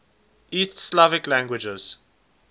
east slavic languages